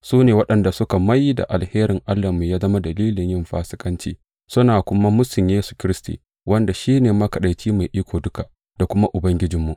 Su ne waɗanda suka mai da alherin Allahnmu ya zama dalilin yin fasikanci, suna kuma mūsun Yesu Kiristi wanda shi ne Makaɗaici Mai Iko Duka da kuma Ubangijinmu.